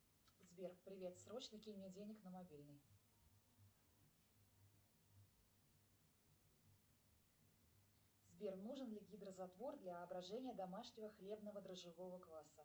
сбер привет срочно кинь мне денег на мобильный сбер нужен ли гидрозатвор для брожения домашнего хлебного дрожжевого кваса